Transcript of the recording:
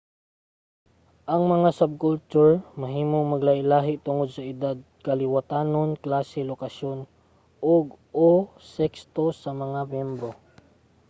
ang mga subculture mahimong maglahi-lahi tungod sa edad kaliwatanon klase lokasyon ug/o sekso sa mga miyembro